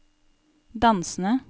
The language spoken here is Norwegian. dansende